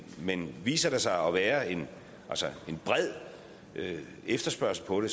men viser der sig at være en bred efterspørgsel på det